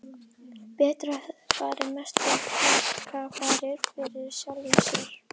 Bretar höfðu farið mestu hrakfarir fyrir sjálfum sér.